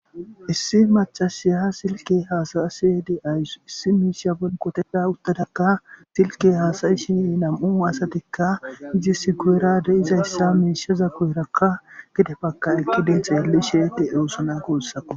Issi maccashiya silke haasa7ashe de7awus qoteta utada silke hasa7ishi nam7u asatika izisi guyera diza miisheza guyeraka gede xeellishe de7oosona guusako